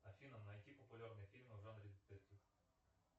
афина найди популярные фильмы за